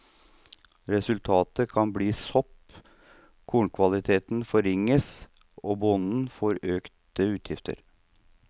Resultatet kan bli sopp, kornkvaliteten forringes, og bonden får økte utgifter.